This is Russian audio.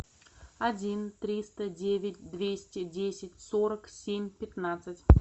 один триста девять двести десять сорок семь пятнадцать